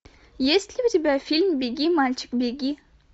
есть ли у тебя фильм беги мальчик беги